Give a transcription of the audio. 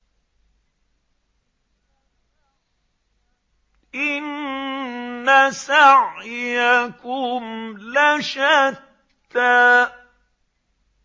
إِنَّ سَعْيَكُمْ لَشَتَّىٰ